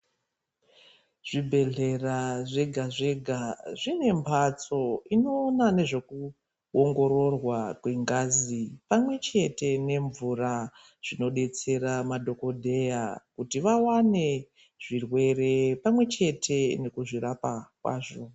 Zvibhedhlera zvega zvega zvinemhatso inoona nezvekuongororwa kwengazi pamwechete nemvura, zvinodetsere madhogodheya kuti vawane zvirwere pamwechete nekuzvirapa kwazvo.